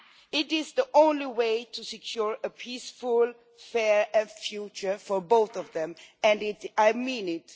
It is the only way to secure a peaceful, fair future for both of them, and I mean it.